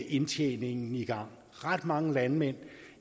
indtjeningen i gang ret mange landmænd